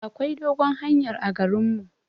Akwai dogon hanyar a garin mu.